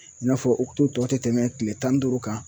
I n'a fɔ ukutu tɔ ti tɛmɛ kile tan ni duuru kan.